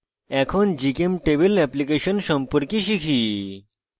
এখন gchemtable application সম্পর্কে শিখি